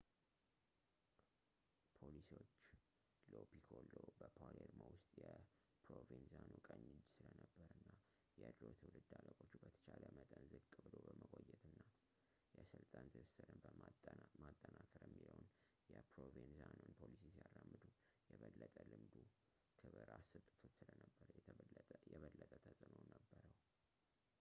ፖሊሶች ሎ ፒኮሎ በፓሌርሞ ውስጥ የፕሮቬንዛኖ ቀኝ እጅ ስለነበር እና የድሮ ትውልድ አለቆቹ በተቻለ መጠን ዝቅ ብሎ በመቆየት እና የስልጣን ትስስርን ማጠናከር የሚለውን የፕሮቬንዛኖን ፖሊሲ ሲያራምዱ የበለጠ ልምዱ ክብር አሰጥቶት ስለነበር የበለጠ ተጽዕኖ ነበረው